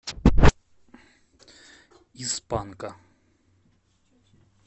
из панка